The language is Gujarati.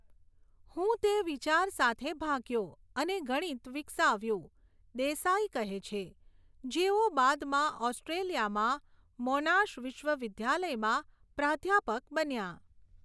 હું તે વિચાર સાથે ભાગ્યો અને ગણિત વિકસાવ્યું, દેસાઈ કહે છે, જેઓ બાદમાં ઑસ્ટ્રેલિયામાં મોનાશ વિશ્વવિદ્યાલયમાં પ્રાધ્યાપક બન્યા.